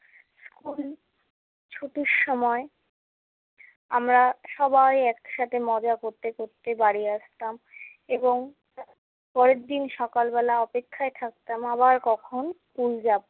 School ছুটির সময় আমরা সবাই একসাথে মজা করতে করতে বাড়ি আসতাম এবং পরেরদিন সকালবেলা অপেক্ষায় থাকতাম আবার কখন স্কুল যাবো।